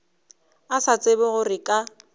a sa tsebe gore ka